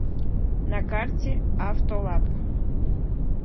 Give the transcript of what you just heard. на карте автолаб